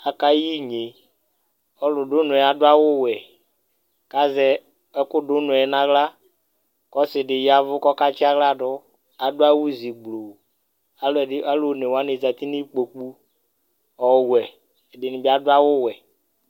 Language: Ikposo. AkayinyeƆlu du ʋnɔ yɛ adʋ awu wɛ, kazɛ ɛkʋ du unɔɛ naɣlaƆsidi yavʋ kɔkatsi aɣla dʋAdʋ awu zi bluuAlʋ onewani zati nikpokuƆwɛ, ɛdini bi adʋ awu wɛ